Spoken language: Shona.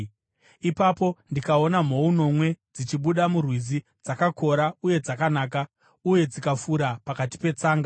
ipapo ndikaona mhou nomwe dzichibuda murwizi, dzakakora uye dzakanaka, uye dzikafura pakati petsanga.